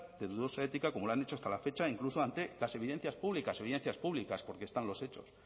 de dudosa ética como lo han hecho hasta la fecha e incluso ante las evidencias públicas evidencias públicas porque están los hechos